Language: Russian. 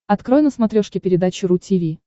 открой на смотрешке передачу ру ти ви